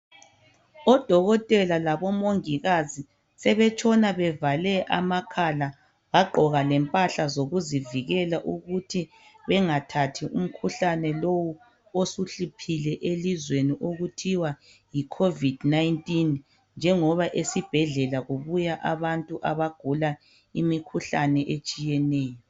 Odokotela labomongikazi sebetshona bevale amakhala, bagqoka lempahla zokuzivikela ukuthi bengathathi umkhuhlane lo osuhluphile elizweni okuthwa yi COVID 19, njengoba esibhedlela kubuya abantu abagula imikhuhlane etshiyeneyo.